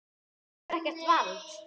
Hann hefur ekkert vald.